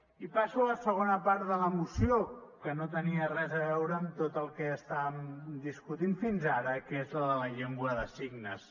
i passo a la segona part de la moció que no tenia res a veure amb tot el que estàvem discutint fins ara que és la de la llengua de signes